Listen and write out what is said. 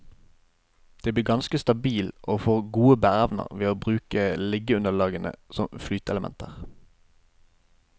Den blir ganske stabil og får god bæreevne ved at de bruker liggeunderlagene som flyteelementer.